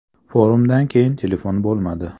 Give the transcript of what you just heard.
Forumdan keyin telefon bo‘lmadi.